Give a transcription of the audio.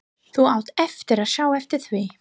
Þú átt eftir að sjá eftir því!